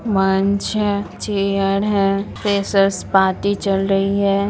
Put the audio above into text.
'' मंच है चेयर है फ्रेशर्स पार्टी चल रही है। ''